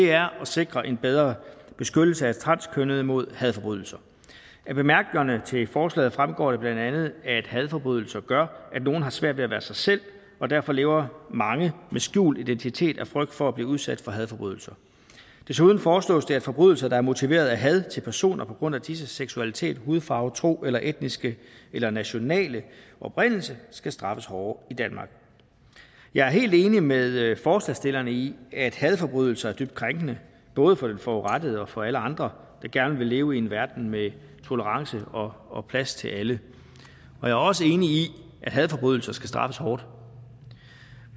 er at sikre en bedre beskyttelse af transkønnede mod hadforbrydelser af bemærkningerne til forslaget fremgår det bla at hadforbrydelser gør at nogle har svært ved at være sig selv og derfor lever mange med skjult identitet af frygt for at blive udsat for hadforbrydelser desuden foreslås det at forbrydelser der er motiveret af had til personer på grund af disses seksualitet hudfarve tro eller etniske eller nationale oprindelse skal straffes hårdere i danmark jeg er helt enig med forslagsstillerne i at hadforbrydelser er dybt krænkende både for den forurettede og for alle andre der gerne vil leve i en verden med tolerance og og plads til alle jeg er også enig i at hadforbrydelser skal straffes hårdt